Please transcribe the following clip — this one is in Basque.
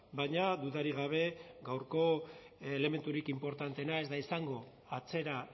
baina dudarik gabe gaurko elementurik inportanteena ez da izango atzera